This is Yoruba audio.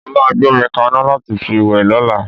Mó máa gbómi kaná láti fi wẹ̀ lọ́la.